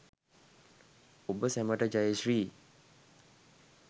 ඔබ සැමට ජයශ්‍රී